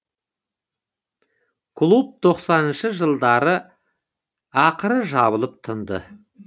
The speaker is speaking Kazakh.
клуб тоқсаныншы жылдары ақыры жабылып тынды